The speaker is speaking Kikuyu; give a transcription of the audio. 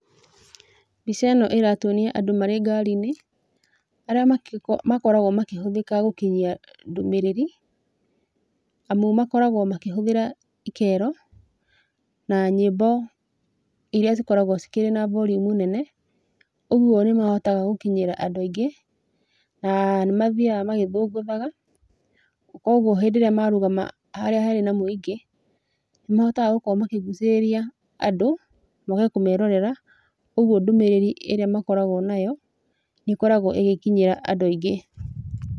Mbiceno ĩratuonia andũ marĩ ngari-inĩ, arĩa makoragwo makĩhũthĩka gũkinyia ndũmĩrĩri, amu makoragwo makĩhũthĩra ikero na nyĩmbo iria cikoragwo cikĩrĩ na volume nene, ũgwo nĩmahotaga gũkinyĩra andũ aingĩ. Na nĩmathiaga magĩthũngũthaga kogwo hĩndĩ ĩrĩa marugama harĩa harĩ na mũingĩ, nĩmahotaga gũkorwo makĩgucĩrĩria andũ moke kũmerorera, ũgwo ndũmĩrĩri ĩrĩa magĩkoragwo nayo nĩĩkoragwo ĩgĩkinyĩra andũ aingĩ.